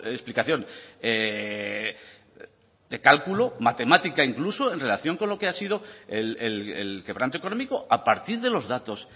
explicación de cálculo matemática incluso en relación con lo que ha sido el quebranto económico a partir de los datos